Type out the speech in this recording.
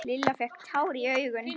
Lilla fékk tár í augun.